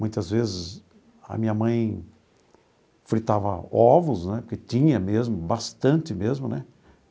Muitas vezes a minha mãe fritava ovos né, porque tinha mesmo, bastante mesmo né.